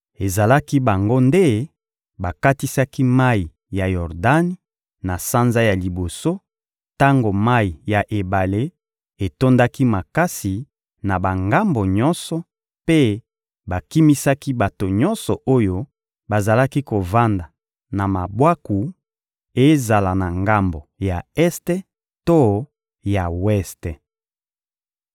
Ezalaki bango nde bakatisaki mayi ya Yordani, na sanza ya liboso, tango mayi ya ebale etondaki makasi na bangambo nyonso, mpe bakimisaki bato nyonso oyo bazalaki kovanda na mabwaku, ezala na ngambo ya este to ya weste.